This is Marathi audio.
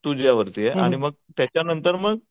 तुझ्यावरती आहे आणि मग त्याच्यानंतर मग